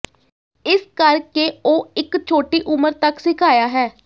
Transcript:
ਇਸ ਕਰ ਕੇ ਉਹ ਇੱਕ ਛੋਟੀ ਉਮਰ ਤੱਕ ਸਿਖਾਇਆ ਹੈ